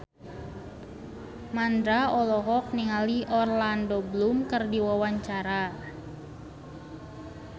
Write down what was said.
Mandra olohok ningali Orlando Bloom keur diwawancara